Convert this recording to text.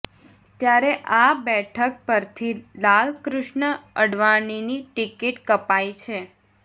ત્યારે આ બેઠક પરથી લાલકૃ્ષ્ણ અડવાણીની ટીકીટ કપાઇ છે